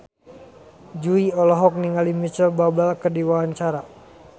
Jui olohok ningali Micheal Bubble keur diwawancara